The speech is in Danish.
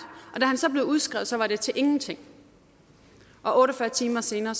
da han så blev udskrevet var det til ingenting og otte og fyrre timer senere